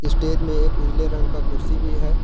Stage में एक उजले रंग का कुर्सी भी है।